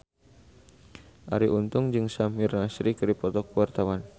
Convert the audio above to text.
Arie Untung jeung Samir Nasri keur dipoto ku wartawan